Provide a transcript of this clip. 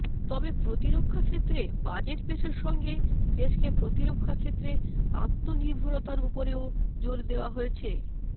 তবে প্রতিরক্ষা ক্ষেত্রে বাজেট পেশের সঙ্গে দেশকে প্রতিরক্ষা ক্ষেত্রে আত্মনির্ভরতার ওপরেও জোর দেওয়া হয়েছে